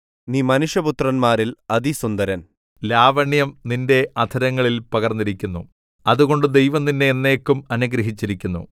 നീ മനുഷ്യപുത്രന്മാരിൽ അതിസുന്ദരൻ ലാവണ്യം നിന്റെ അധരങ്ങളിൽ പകർന്നിരിക്കുന്നു അതുകൊണ്ട് ദൈവം നിന്നെ എന്നേക്കും അനുഗ്രഹിച്ചിരിക്കുന്നു